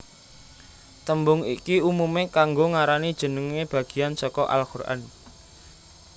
Tembung iki umume kanggo ngarani jenenge bageyan saka al Quran